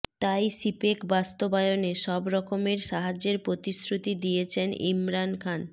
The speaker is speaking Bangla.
তাই সিপেক বাস্তবায়নে সব রকমের সাহায্যের প্রতিশ্রুতি দিয়েছেন ইমরান খান